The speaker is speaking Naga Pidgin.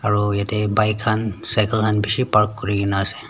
aro yete bike khan cycle khan bishi park kurigina asey.